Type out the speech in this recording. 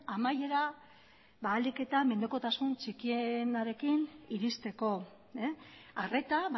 amaierara ahalik eta menpekotasun txikienarekin iristeko arreta